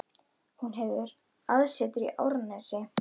Hún hefur aðsetur í Árnesi.